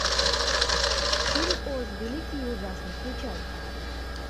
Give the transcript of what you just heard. фильм оз великий и ужасный включай